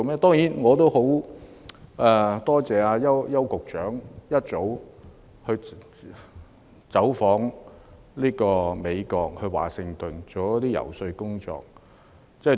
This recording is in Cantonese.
當然，我也很感謝邱局長早已走訪美國華盛頓進行遊說工作。